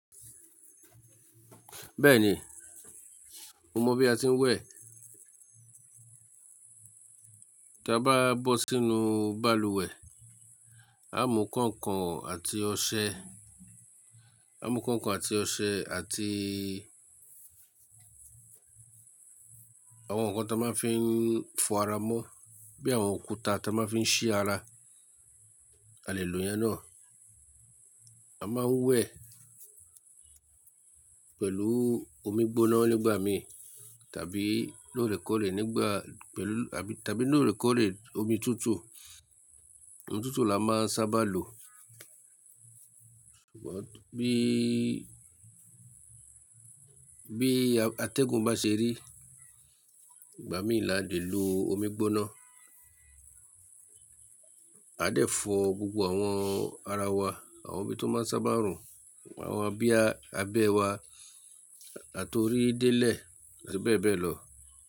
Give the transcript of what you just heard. Bẹ́ẹ̀ni, mo mọ̀ bí a tí ń wẹ̀. Tí a bá bọ́ sínú balùwẹ̀, á mú kainkain àti ọṣẹ, á mú kainkain àti ọṣẹ àti àwọn ǹkan tí a máa fí ń fọ ara mọ́ bí i àwọn òkúta tí a máa ń fi ṣí ara. A lè lò ìyẹn náà. A máa wẹ̀ pẹ̀lú omi gbóná nígbà mí tàbí lóòrèkóòrè nígbà pẹ̀lú tàbí lóòrèkóòrè omi tútù. Omi tútù la máa sábà lò. Ṣùgbọ́n bí, bí atẹ́gùn bá ṣe rí, ìgbà mí là dẹ lò omi gbóná. A dẹ fọ gbogbo àwọn ara wa, àwọn ibi tó máa ń sábà rùn, àwọn abíya abẹ́ wa àti orí dẹ́lẹ̀ bẹ́ẹ̀ bẹ́ẹ̀ lọ.